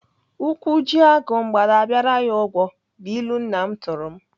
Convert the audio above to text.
Ụkwụ ji agụ, mgbada abịara ya ụgwọ bụ ilu nna m tụrụ m.